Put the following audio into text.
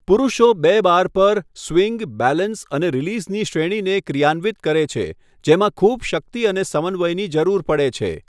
પુરૂષો બે બાર પર સ્વિંગ, બેલેન્સ અને રીલીઝની શ્રેણીને ક્રિયાન્વિત કરે છે જેમાં ખૂબ શક્તિ અને સમન્વયની જરૂર પડે છે.